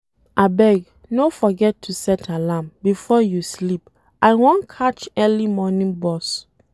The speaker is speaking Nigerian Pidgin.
Abeg, no forget to set alarm before you sleep, I wan catch early morning bus.